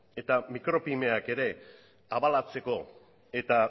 eta mikropymeak ere abalatzeko eta